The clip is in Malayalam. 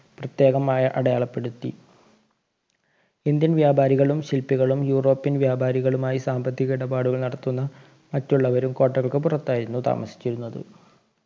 പ്രത്യേകമായ അടയാളപ്പെടുത്തി indian വ്യാപാരികളും ശില്പികളും യൂറോപ്യൻ വ്യാപാരികളുമായി സാമ്പത്തിക ഇടപാടുകൾ നടത്തുന്ന മറ്റുള്ളവരും കോട്ടകൾക്ക് പുറത്തായിരുന്നു താമസിച്ചിരുന്നത്